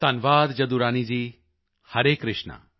ਧੰਨਵਾਦ ਜਦੁਰਾਨੀ ਜੀ ਹਰੇ ਕ੍ਰਿਸ਼ਨਾ